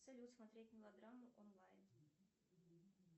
салют смотреть мелодраму онлайн